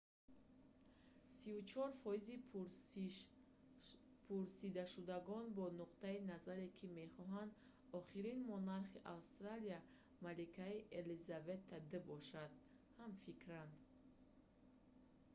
34 фоизи пурсидашудагон бо нуқтаи назаре ки мехоҳанд охирин монархи австралия маликаи елизавета ii бошад ҳамфикранд